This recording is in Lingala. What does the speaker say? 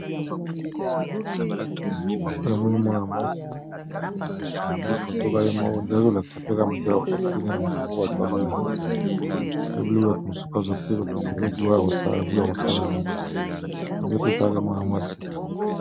Awa pe namoni mwana muasi, akangi foto kaka ye moko, eza neti azolakisa pe kaka modele basali ye suki na mutu kaka po balulaye, to bato misusu bazwa pe baposa pe gout ya kosala yango, neti kaka mwana masi